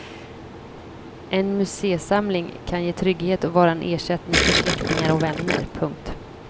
En museisamling kan ge trygghet och vara en ersättning för släktingar och vänner. punkt